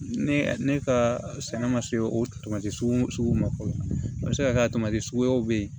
Ne ne ka sɛnɛ ma se o tamati sugu ma fɔlɔ a bɛ se ka kɛ tamasiɲɛnw bɛ ye